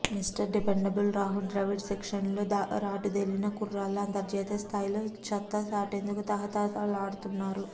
mister dependable Rahul Dravid శిక్షణలో రాటుదేలిన కుర్రాళ్లు అంతర్జాతీయ స్థాయిలో సత్తాచాటేందుకు తహతహలాడుతున్నారు